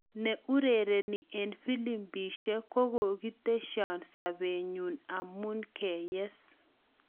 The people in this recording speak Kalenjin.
Ne urereni en filimbishek kokokitishan sapetnyi amun keyes